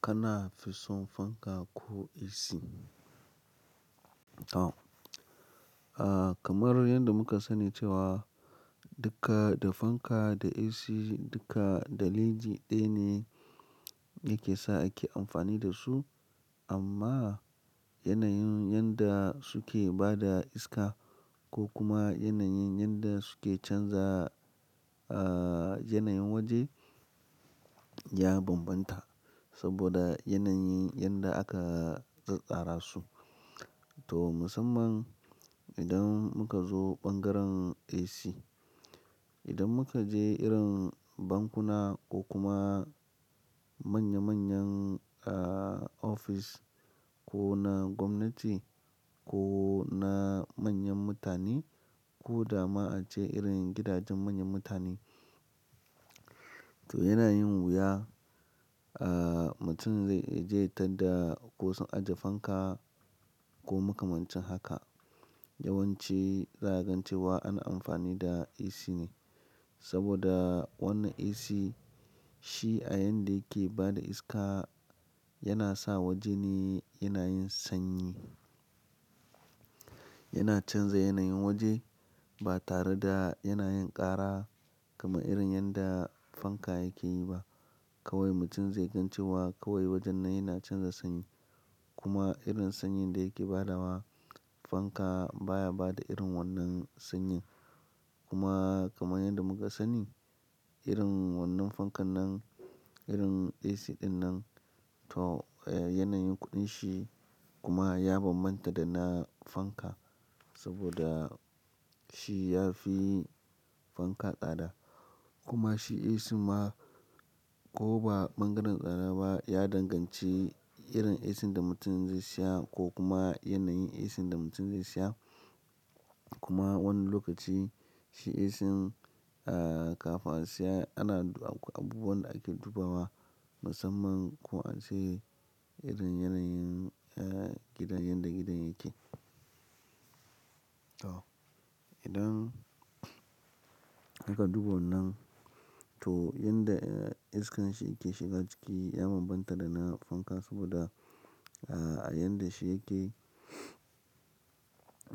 Kana fi son fanka ko AC? Kamar yadda muka sani cewa duka da fanka da AC duka da leji ɗaya ne yake sa ake amfani da su amma yanayin yanda suke bada iska ko kuma yanayin yanda suke canza, ah, yanayin waje ya bambanta saboda yanayin yanda aka ƙar ƙara su. To musamman idan muka zo ɓangaren AC, idan muka je irin bankuna ko kuma manya manyan, ah, office ko na gwamnati ko na manyan mutane ko dama ace irin gidajen manyan mutane, to yana yin wuya, ah, mutum zai je ya tarda ko sun ajiye fanka ko makamancen haka. Yawanci za a gan cewa ana amfani da AC ne saboda wannan AC shi a yanda yake bada iska yana sa waje ne yana yin sanyi. Yana canza yanayin waje ba tare da yana yin ƙara kamar irin yanda fanka yake yi ba. Kawai mutum zai gan cewa kawai wajen nan yana canza sanyi kuma irin sanyin da yake ba da wa fanka baya bada irin wannan sanyin. Kuma kamar yadda muka sani irin wannan fankan nan, irin AC ɗin nan to yanayin kuɗin shi kuma ya bambanta da na fanka saboda shi ya fi fanka tsada kuma shi AC ma ko ba ɓangaren ƙara ba ya danganci irin AC da mutum zai siya ko kuma yanayin AC da mutum zai siya. Kuma wani lokaci shi AC kafin a siya ana abu wanda ake duba wa musamman ko an ce irin yanayin gidan, yanda gidan yake. To idan aka duba wannan to yanda iskan shi yake shiga ciki ya bambanta da na fanka saboda, ah, a yanda shi yake,